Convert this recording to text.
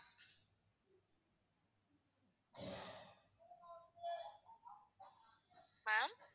ma'am